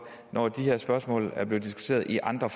når de her spørgsmål er blevet diskuteret i andre